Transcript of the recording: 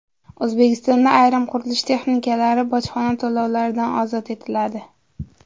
O‘zbekistonda ayrim qurilish texnikalari bojxona to‘lovlaridan ozod etiladi.